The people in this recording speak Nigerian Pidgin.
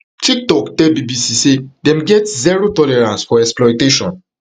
tiktok tell bbc say dem get zero tolerance for exploitation